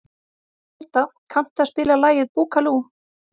Folda, kanntu að spila lagið „Búkalú“?